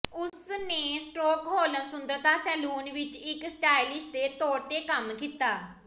ਉਸ ਨੇ ਸ੍ਟਾਕਹੋਲ੍ਮ ਸੁੰਦਰਤਾ ਸੈਲੂਨ ਵਿੱਚ ਇੱਕ ਸਟਾਈਲਿਸ਼ ਦੇ ਤੌਰ ਤੇ ਕੰਮ ਕੀਤਾ